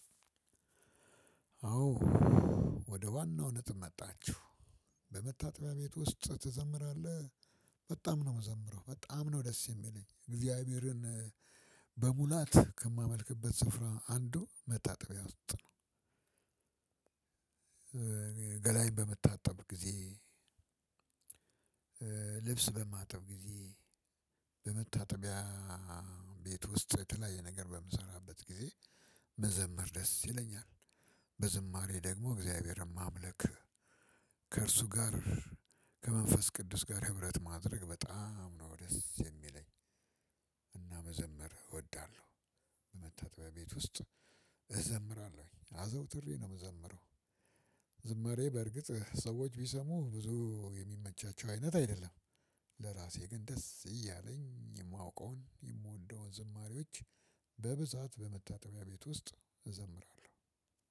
አዎ ወደ ዋናው ነጥብ መጣችሁ። በመታጠቢያ ቤት ውስጥ ትዘምራለህ? በጣም ነው የምዘምረው በጣም ነው ደስ የሚለኝ እግዚአብሔርን በሙላት ከማመልክበት ስፍራ አንዱ መጣጥቢያ ውስጥ ነው። ገላዬን በምታጠብ ጊዜ። ልብስ በማጠብ ጊዜ። በመታጠቢያ ቤት ውስጥ የተለያየ ነገር በምሰራበት ጊዜ መዘመር ደስ ይለኛል። በዝማሬ ደግሞ እግዚአብሔርም ማምልክ ከእርሱ ጋር ከመንፈስ ቅዱስ ጋር ህብረት ማድረግ በጣም ነው ደስ የሚለኝ። እና መዘምር እወዳለሁ። በመታጠቢያ ቤት ውስጥ እዘምራለሁኝ አዘውትሬ ነው የምዘምረው። ዝምሬ በእርግጥ ሰዎች ቢሰሙ ብዙ የሚመቻቸው አይነት አይደለም። ለራሴ ግን ደስ እያለኝ የማውቀውን የምወደውን ዝማሬዎች በብዛት በመታጠቢያ ቤት ውስጥ እዘምራለሁ።